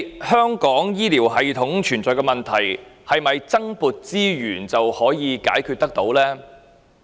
香港醫療系統存在的問題，究竟是否透過增撥資源便可以解決呢？